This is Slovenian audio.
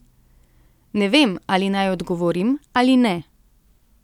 Ne vem, ali naj odgovorim ali ne.